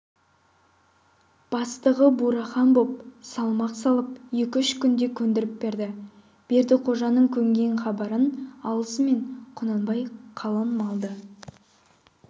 бастығы бурахан боп салмақ салып екі-үш күнде көндіріп берді бердіқожаның көнген хабарын алысымен құнанбай қалың малды